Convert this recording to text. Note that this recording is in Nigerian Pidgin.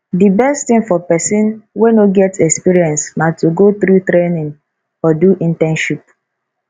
di best thing for persin wey no get experience na to go through training or do internship